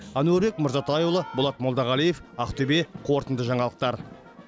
әнуарбек мырзатайұлы болат молдағалиев ақтөбе қорытынды жаңалықтар